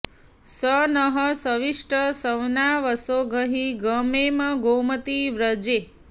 स नः शविष्ठ सवना वसो गहि गमेम गोमति व्रजे